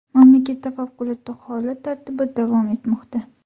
Mamlakatda favqulodda holat tartibi davom etmoqda.